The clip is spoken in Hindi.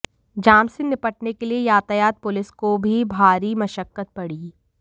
जाम से निपटने के लिए यातायात पुलिस को भी भारी मशक्कत पड़ी